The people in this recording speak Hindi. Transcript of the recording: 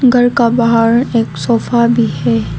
घर का बाहर एक सोफा भी है।